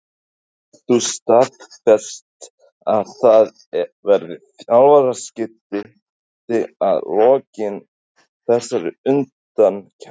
Getur þú staðfest að það verði þjálfaraskipti að lokinni þessari undankeppni?